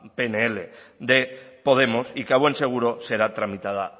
pnl de podemos y que a buen seguro será tramitada